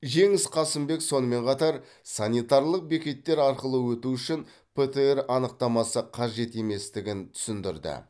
жеңіс қасымбек сонымен қатар санитарлық бекеттер арқылы өту үшін птр анықтамасы қажет еместігін түсіндірді